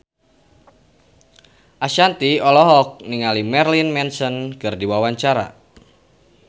Ashanti olohok ningali Marilyn Manson keur diwawancara